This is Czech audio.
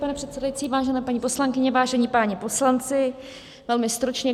Pane předsedající, vážené paní poslankyně, vážení páni poslanci, velmi stručně.